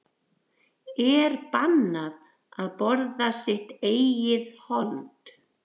Er bannað að borða sitt eigið hold?